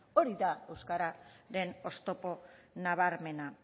hori da euskararen oztopo nabarmena